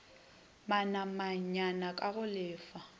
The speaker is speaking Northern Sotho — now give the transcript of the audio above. manamanyana k a go lefa